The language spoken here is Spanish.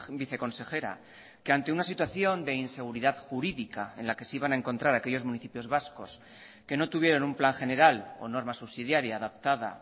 viceconsejera que ante una situación de inseguridad jurídica en la que se iban a encontrar aquellos municipios vascos que no tuvieron un plan general o norma subsidiaria adaptada